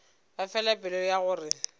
ba fela pelo ya gore